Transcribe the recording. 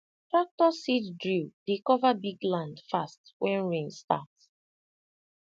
tractor seed drill dey cover big land fast when rain start